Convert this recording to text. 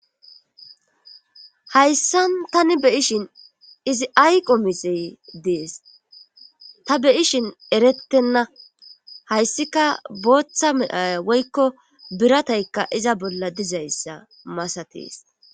Hayssan tani be ishin izi ayqo mixey dees ta be ishin erettenna hayssika booththa midhaya woykko biratayka iza bolla dizayssa masatees